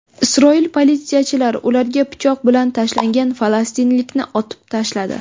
Isroil politsiyachilari ularga pichoq bilan tashlangan falastinlikni otib tashladi.